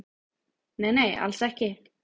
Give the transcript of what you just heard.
Nei nei, alls ekki